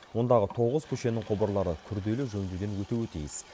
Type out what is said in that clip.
ондағы тоғыз көшенің құбырлары күрделі жөндеуден өтуі тиіс